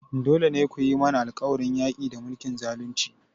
Dole ne ku yi mana alƙawarin yaƙi da mulkin zalunci!